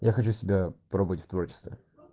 я хочу себя пробовать в творчестве